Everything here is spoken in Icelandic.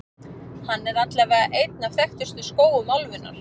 Hann er allavega einn af þekktustu skógum álfunnar.